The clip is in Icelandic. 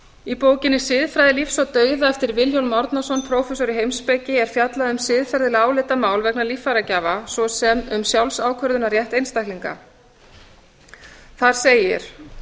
í bókinni siðfræði lífs og dauða eftir vilhjálm árnason prófessor í heimspeki er fjallað um siðferðileg álitamál vegna líffæragjafa svo sem um sjálfsákvörðunarrétt einstaklinga þar segir